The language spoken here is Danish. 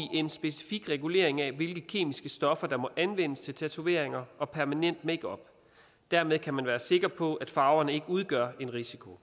en specifik regulering af hvilke kemiske stoffer der må anvendes til tatoveringer og permanent makeup dermed kan man være sikker på at farverne ikke udgør en risiko